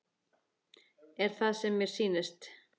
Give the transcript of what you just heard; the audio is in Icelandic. Er það sem mér sýnist?